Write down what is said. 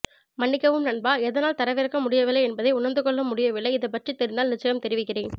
மன்னிக்கவும் நண்பா எதனால் தரவிறக்கமுடியவில்லை என்பதை உணர்ந்து கொள்ள முடியவில்லை இது பற்றி தெரிந்தால் நிச்சியம் தெரிவிக்கிறேன்